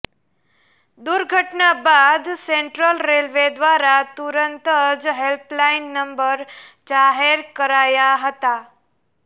દુર્ઘટના બાદ central railway દ્વારા તુરંત જ હેલ્પલાઇન નંબર જાહેર કરાયા હતા